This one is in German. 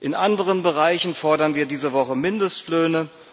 In anderen Bereichen fordern wir diese Woche Mindestlöhne.